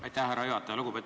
Aitäh, härra juhataja!